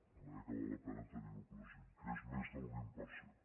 de manera que val la pena tenir ho present que és més del vint per cent